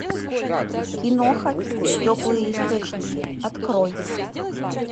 киноха теплые источники открой